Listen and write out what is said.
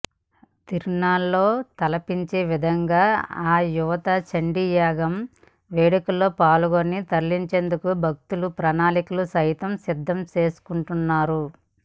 తిరునాళ్లను తలపించే విధంగా అయుత చండీయాగం వేడుకల్లో పాల్గొని తరించేందుకు భక్తులు ప్రణాళికలు సైతం సిద్ధం చేసుకుంటున్నారు